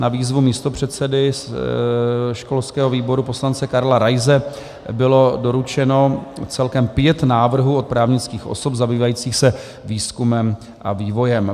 Na výzvu místopředsedy školského výboru poslance Karla Raise bylo doručeno celkem pět návrhů od právnických osob zabývajících se výzkumem a vývojem.